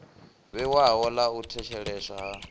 vhewaho ḽa u thetsheleswa ha